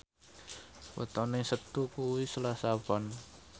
wetone Setu kuwi Selasa Pon